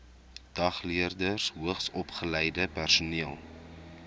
dagleerders hoogsopgeleide personeel